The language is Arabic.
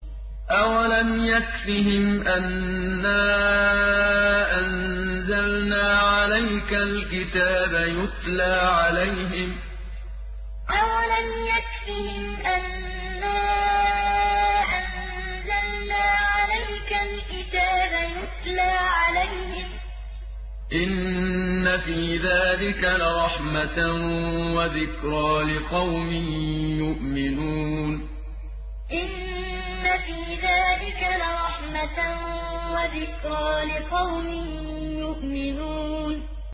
أَوَلَمْ يَكْفِهِمْ أَنَّا أَنزَلْنَا عَلَيْكَ الْكِتَابَ يُتْلَىٰ عَلَيْهِمْ ۚ إِنَّ فِي ذَٰلِكَ لَرَحْمَةً وَذِكْرَىٰ لِقَوْمٍ يُؤْمِنُونَ أَوَلَمْ يَكْفِهِمْ أَنَّا أَنزَلْنَا عَلَيْكَ الْكِتَابَ يُتْلَىٰ عَلَيْهِمْ ۚ إِنَّ فِي ذَٰلِكَ لَرَحْمَةً وَذِكْرَىٰ لِقَوْمٍ يُؤْمِنُونَ